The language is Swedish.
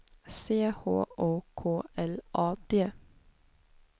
C H O K L A D